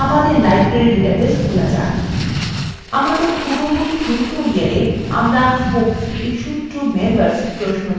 আমাদের পূর্ববর্তী tutorials আমরা books issued to members প্রশ্নটি তৈরী করেছিলাম